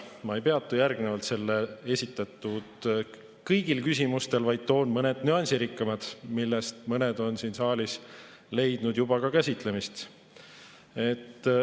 Ma ei peatu järgnevalt kõigil esitatud küsimustel, vaid mõnel nüansirikkamal, millest mõned on siin saalis leidnud juba ka käsitlemist.